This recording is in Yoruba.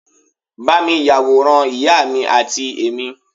ba mi yaworan ìyá mi ati emi